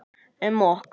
Um okkur.